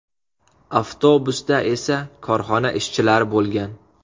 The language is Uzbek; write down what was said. Avtobusda esa korxona ishchilari bo‘lgan.